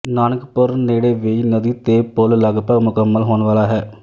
ਨਾਨਕਪੁਰ ਨੇੜੇ ਵੇਈਂ ਨਦੀ ਤੇ ਪੁੱਲ ਲਗਭਗ ਮੁਕੰਮਲ ਹੋਣ ਵਾਲਾ ਹੈ